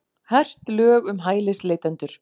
Hert lög um hælisleitendur